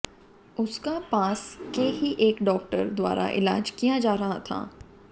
उसका पास के ही एक डाक्टर द्वारा इलाज किया जा रहा था